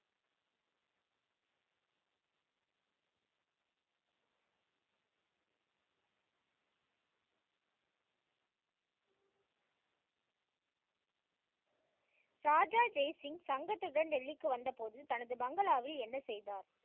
ராஜா ஜெய் சிங்க் சங்கத்துடன் டெல்லிக்கு வந்த போது தனது பங்களாவில் என்ன செய்தார்?